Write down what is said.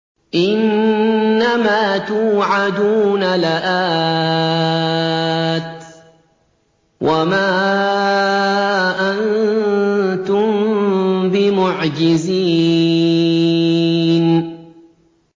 إِنَّ مَا تُوعَدُونَ لَآتٍ ۖ وَمَا أَنتُم بِمُعْجِزِينَ